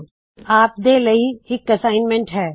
ਅਤੇ ਆਪ ਦੇ ਲਈ ਇਕ ਨਿਯਤ ਕਾਰਜ ਹੈ